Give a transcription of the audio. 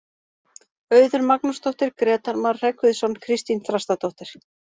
Auður Magnúsdóttir, Grétar Mar Hreggviðsson, Kristín Þrastardóttir.